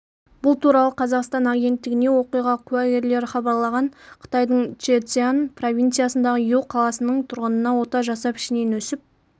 бұл туралы қазақстан агенттігіне оқиға куәгерлері хабарлаған қытайдыңчжэцзян провинциясындағы иу қаласының тұрғынына ота жасап ішінен өсіп